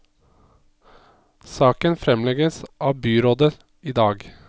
Saken fremlegges av byrådet i dag.